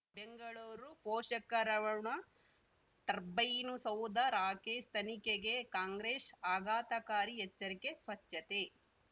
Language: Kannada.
ಬೆಂಗಳೂರು ಪೋಷಕರಋಣ ಟರ್ಬೈನು ಸೌಧ ರಾಕೇಶ್ ತನಿಖೆಗೆ ಕಾಂಗ್ರೆಶ್ ಆಘಾತಕಾರಿ ಎಚ್ಚರಿಕೆ ಸ್ವಚ್ಛತೆ